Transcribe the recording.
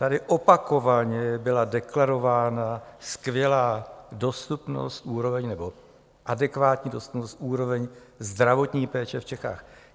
Tady opakovaně byla deklarována skvělá dostupnost, úroveň, nebo adekvátní dostupnost, úroveň zdravotní péče v Čechách.